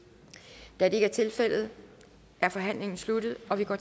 da det ikke er tilfældet er forhandlingen sluttet og vi går